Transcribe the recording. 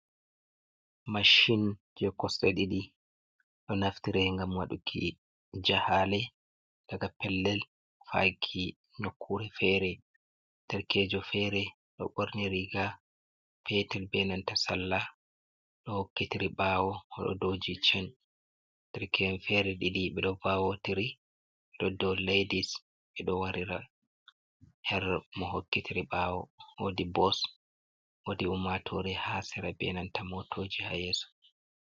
Machin je coste didi do naftira ngam waduki jahale, daga pellel faki nyokkure fere derkejo fere do borniri riga petel benanta salla do hokkitiri bawo do jichen derkeje fere didi bedo vawotiri hado ladis be do warira her mo hokkitiri bawo wodi bots wadi umatore ha sera benanta motoji ha yeso.